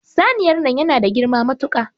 Saniyar nan yana da girma matuka.